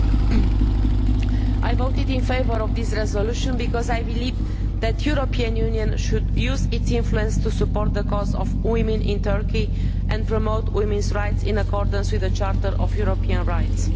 Mr President, I voted in favour of this resolution because I believe that the European Union should use its influence to support the cause of women in Turkey and promote women's rights in accordance with the Charter of European Rights.